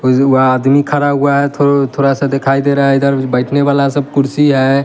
और वो आदमी खड़ा हुआ है थो थोड़ा सा दिखाई दे रहा है इधर बैठने वाला सब कुर्सी है।